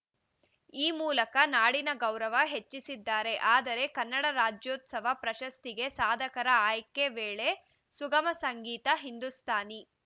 ಈ ಮೂಲಕ ನಾಡಿನ ಗೌರವ ಹೆಚ್ಚಿಸಿದ್ದಾರೆ ಆದರೆ ಕನ್ನಡ ರಾಜ್ಯೋತ್ಸವ ಪ್ರಶಸ್ತಿಗೆ ಸಾಧಕರ ಆಯ್ಕೆ ವೇಳೆ ಸುಗಮ ಸಂಗೀತ ಹಿಂದೂಸ್ತಾನಿ